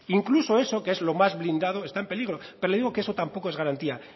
incluso eso que es lo más blindado está en peligro pero le digo que eso tampoco es garantía